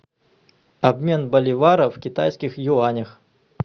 обмен боливара в китайских юанях